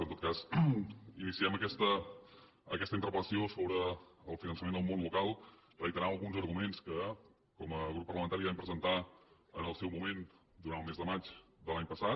en tot cas iniciem aquesta interpel·lació sobre el finançament del món local reiterant alguns arguments que com a grup parlamentari vam presentar en el seu moment durant el mes de maig de l’any passat